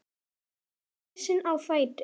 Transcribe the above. Hann var risinn á fætur.